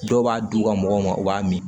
Dɔw b'a d'u ka mɔgɔw ma u b'a min